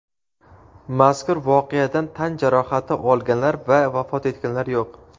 Mazkur voqeadan tan jarohati olganlar va vafot etganlar yo‘q.